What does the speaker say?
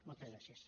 moltes gràcies